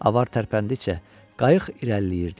Avar tərpəndikcə qayıq irəliləyirdi.